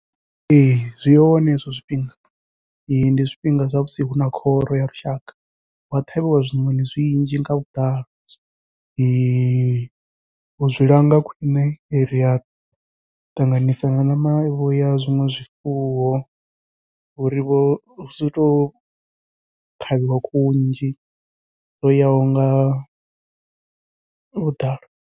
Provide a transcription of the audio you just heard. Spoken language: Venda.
Ee zwi hone hezwo zwifhinga ndi zwifhinga zwa musi huna khoro ya lushaka hua ṱhavhiwa zwiṋoṋi zwinzhi nga vhuḓalo uzwi langa khwiṋe ria ṱanganisa ṋama vho ya zwiṅwe zwifuwo uri vho husi to ṱhavhiwa khuhu nnzhi dzo yaho nga vhuḓalo.